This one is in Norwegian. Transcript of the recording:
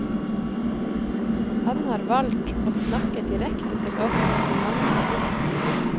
Han har valgt å snakke direkte til oss i mange av diktene.